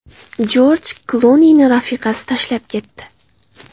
Jorj Klunini rafiqasi tashlab ketdi.